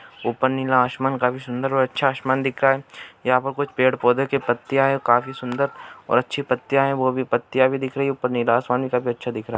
ऊपर नीला आसमान काफी सुन्दर और अच्छा आसमान दिख रहा है यहाँ पर कुछ पेड़ पौधे पत्तियाँ है काफी सुन्दर और अच्छी पत्तियाँ है वो भी पत्तियाँ दिख रही है ऊपर नीला आसमानी काफी अच्छा दिख रहा है |